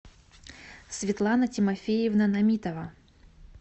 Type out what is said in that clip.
светлана тимофеевна намитова